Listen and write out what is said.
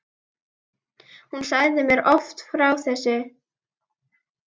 Hún sagði mér oft frá þessu.